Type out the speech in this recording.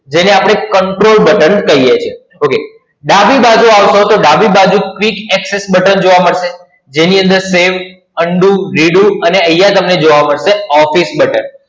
જેને આપણે Control Button કહીએ છીએ, OK. ડાબી બાજુ આવશો તો ડાબી બાજુ quick access button જોવા મળશે, જેની અંદર Save, Undo, Redo અને અહિયાં તમને જોવા મળશે Office button.